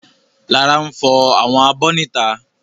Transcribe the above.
Lára n fọ àwọn abọ́ ní ìta